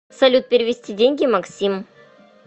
салют перевести деньги максим